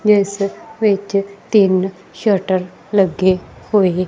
ਜਿਸ ਵਿਚ ਤਿੰਨ ਸ਼ਟਰ ਲੱਗੇ ਹੋਏ।